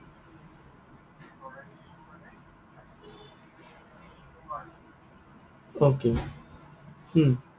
Okay উম